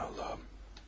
Aman Allahım.